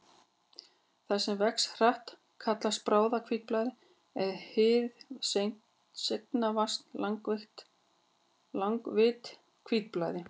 Það sem vex hratt kallast bráðahvítblæði en hið seinvaxna langvinnt hvítblæði.